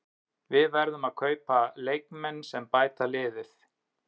Við verðum að kaupa leikmenn sem bæta liðið.